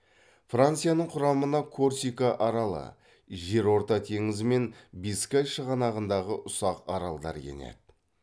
францияның құрамына корсика аралы жерорта теңізі мен бискай шығанағындағы ұсақ аралдар енеді